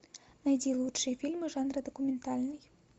найди лучшие фильмы жанра документальный